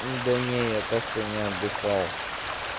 да не я так-то не отдыхал